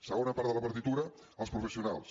segona part de la partitura els professionals